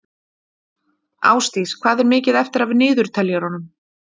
Ásdís, hvað er mikið eftir af niðurteljaranum?